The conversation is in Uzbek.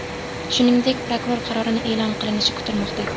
Shuningdek, prokuror qarorining e’lon qilinishi kutilmoqda.